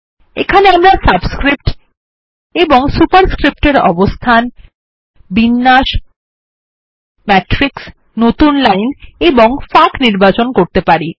এখানে আমরা সাবস্ক্রিপ্টস ও superscripts এর অবস্থান বিন্যাস ম্যাট্রিক্স নতুন লাইন এবং ফাঁক নির্বাচন করতে পারি